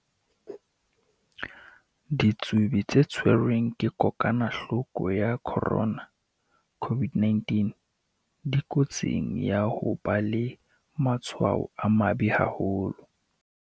Ditsubi tse tshwerweng ke kokwa-nahloko ya corona, COVID-19, dikotsing ya ho ba le matshwao a mabe haholo.